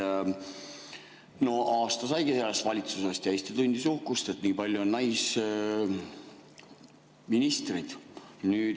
Aasta saigi selle valitsuse, kui Eesti tundis uhkust, et on nii palju naisministreid.